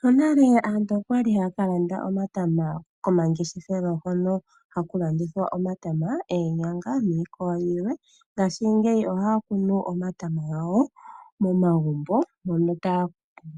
Monale aantu okwa li haya ka landa omatama komangeshefelo hono haku landithwa omatama, oonyanga niikwawo yilwe, ngaashingeyi ohaya kunu omatama gawo momagumbo mono